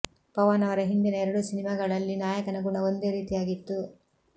ಪವನ್ ಅವರ ಹಿಂದಿನ ಎರಡೂ ಸಿನಿಮಾಗಳಲ್ಲಿ ನಾಯಕನ ಗುಣ ಒಂದೇ ರೀತಿಯಾಗಿತ್ತು